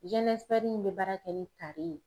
in bɛ baara kɛ ni tari ye.